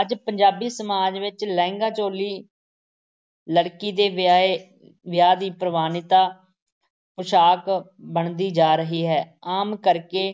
ਅੱਜ ਪੰਜਾਬੀ ਸਮਾਜ ਵਿੱਚ ਲਹਿੰਗਾ-ਚੋਲੀ ਲੜਕੀ ਦੇ ਵਿਆਹੇ ਵਿਆਹ ਦੀ ਪ੍ਰਵਾਨਿਤਾ ਪੁਸ਼ਾਕ ਬਣਦੀ ਜਾ ਰਹੀ ਹੈ ਆਮ ਕਰਕੇ